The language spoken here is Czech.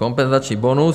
Kompenzační bonus.